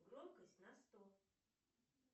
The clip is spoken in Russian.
громкость на сто